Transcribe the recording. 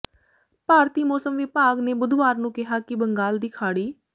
ਭਾਰਤੀ ਮੌਸਮ ਵਿਭਾਗ ਨੇ ਬੁੱਧਵਾਰ ਨੂੰ ਕਿਹਾ ਕਿ ਬੰਗਾਲ ਦੀ ਖਾੜੀ